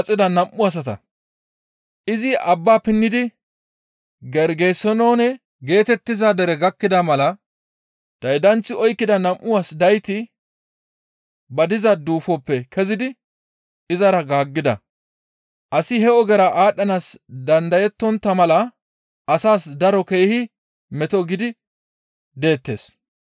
Izi abba pinnidi Gergesenoone geetettiza dere gakkida mala daydanththi oykkida nam7u as dayti ba diza duufoppe kezidi izara gaaggida. Asi he ogezara aadhdhanaas dandayetontta mala asas daro keehi meto gidi deettes.